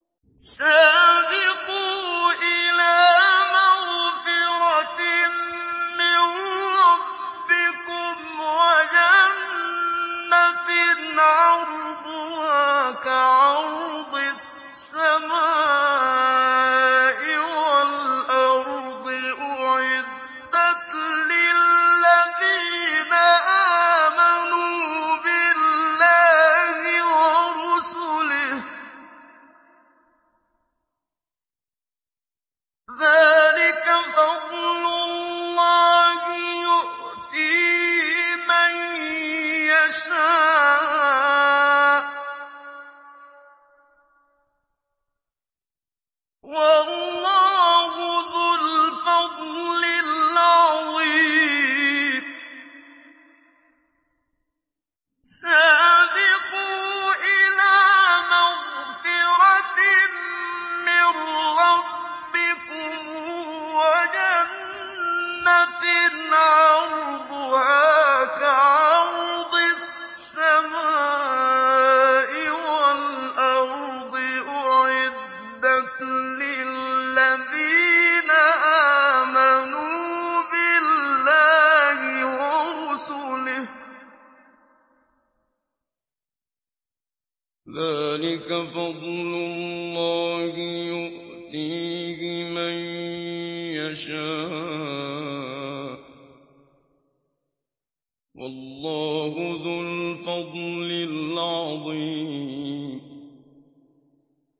سَابِقُوا إِلَىٰ مَغْفِرَةٍ مِّن رَّبِّكُمْ وَجَنَّةٍ عَرْضُهَا كَعَرْضِ السَّمَاءِ وَالْأَرْضِ أُعِدَّتْ لِلَّذِينَ آمَنُوا بِاللَّهِ وَرُسُلِهِ ۚ ذَٰلِكَ فَضْلُ اللَّهِ يُؤْتِيهِ مَن يَشَاءُ ۚ وَاللَّهُ ذُو الْفَضْلِ الْعَظِيمِ